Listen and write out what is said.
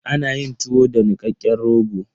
Ana yin tuwo da nikakken rogo.